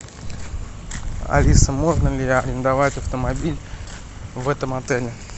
алиса можно ли арендовать автомобиль в этом отеле